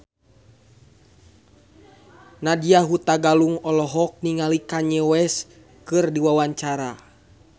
Nadya Hutagalung olohok ningali Kanye West keur diwawancara